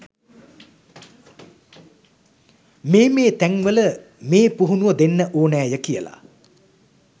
මේ මේ තැන්වල මේ පුහුණුව දෙන්න ඕනෑය කියලා.